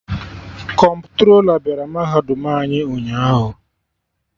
Kọmptrola bịara mahadum anyị ụnyaahụ